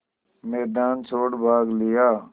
मैदान छोड़ भाग लिया